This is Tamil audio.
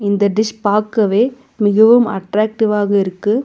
இந்த டிஸ் பாக்கவே மிகவும் அட்ராக்டிவாக இருக்கு.